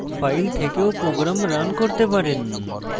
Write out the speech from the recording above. file থেকেও program run করতে পারেন